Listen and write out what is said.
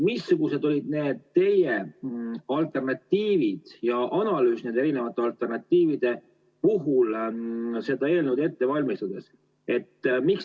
Missugused olid need alternatiivid ja analüüs erinevate alternatiivide puhul seda eelnõu ette valmistades?